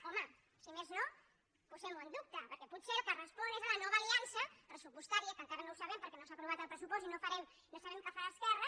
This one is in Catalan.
home si més no posem ho en dubte perquè potser al que respon és a la nova aliança pressupostària que encara no ho sabem perquè no s’ha aprovat el pressupost i no sabem què farà esquerra